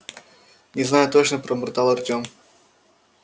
не знаю точно пробормотал артем